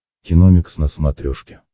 киномикс на смотрешке